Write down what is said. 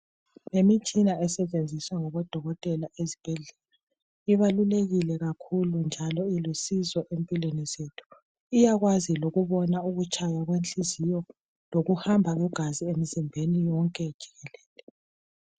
Yimitshina esetshenziswa ngabodokotela ezibhedlela ibalulekile kakhulu njalo ilusizo empilweni zethu iyakwazi lokubona ukutshaya kwenhliziyo lokuhamba kwegazi emzimbeni yonke jikelele